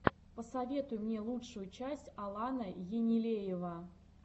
посоветуй мне лучшую часть алана енилеева